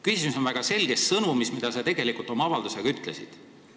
Küsimus on väga selges sõnumis, selles, mida sa tegelikult oma avaldusega ütlesid.